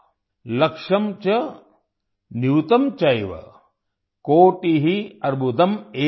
लक्षं च नियुतं चैव कोटि अर्बुदम् एव च